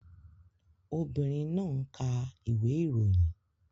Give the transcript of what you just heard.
Obìnrin náà ń ka ìwé ìròyìn